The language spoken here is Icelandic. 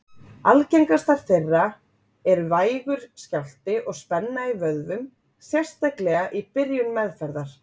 Algengastar þeirra eru vægur skjálfti og spenna í vöðvum, sérstaklega í byrjun meðferðar.